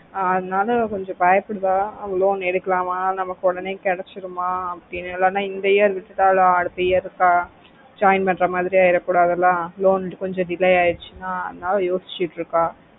ஆஹ் அதுனால அவ கொஞ்சம் பயப்புடுவா loan எடுக்கலாமா நம்மக்கு ஒடனே கடைச்சிடுமா இல்லனா எந்த year விட்டாலும் அடுத்த year இருக்க join பண்ணுற மாரி ஐயிட கூடாது ல loan கொஞ்சம் delay ஆய்டுச்சின்னா அதுனால யோசிச்சிட்டு இருக்க